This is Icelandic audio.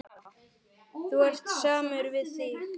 Þú ert samur við þig!